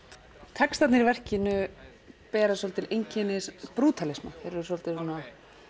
textarnir í verkinu bera svolítil einkenni þeir eru svolítið svona